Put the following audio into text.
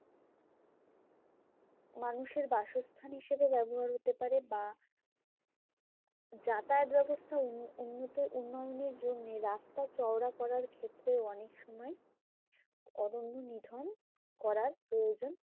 মানুষের বাসস্থান হিসেবে ব্যবহার হতে পারে বা যাতায়াত ব্যবস্থা উন~ উন্নত উন্নয়নের জন্যে রাস্তা চওড়া করার ক্ষেত্রেও অনেকসময় অরণ্য নিধন করার প্রয়োজন